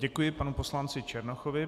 Děkuji panu poslanci Černochovi.